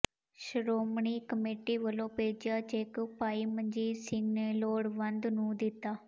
Shiromani committee ਵੱਲੋਂ ਭੇਜਿਆ cheque ਭਾਈ ਮਨਜੀਤ ਸਿੰਘ ਨੇ ਲੋੜਵੰਦ ਨੂੰ ਦਿੱਤਾ